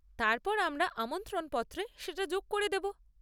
তারপর আমরা আমন্ত্রণপত্রে সেটা যোগ করে দেব।